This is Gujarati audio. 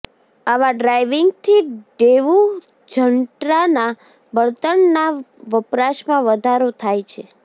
આવા ડ્રાઇવિંગથી ડેવુ જન્ટ્રાના બળતણના વપરાશમાં વધારો થાય છે